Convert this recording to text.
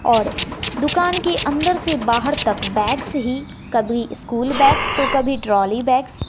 और दुकान के अंदर से बाहर तक बैग्स ही कभी स्कूल बैग्स तो कभी ट्रॉली बैग्स --